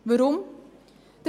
Weshalb dies?